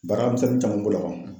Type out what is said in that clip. Baaramisɛnnin caman b'o la